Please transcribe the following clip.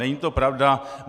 Není to pravda.